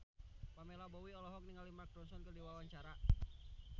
Pamela Bowie olohok ningali Mark Ronson keur diwawancara